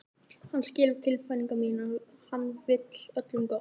Hann skilur tilfinningar mínar, hann vill öllum gott.